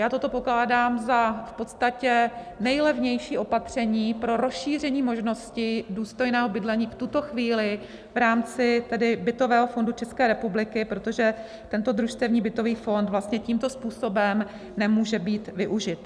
Já toto pokládám za v podstatě nejlevnější opatření pro rozšíření možnosti důstojného bydlení v tuto chvíli v rámci bytového fondu České republiky, protože tento družstevní bytový fond vlastně tímto způsobem nemůže být využit.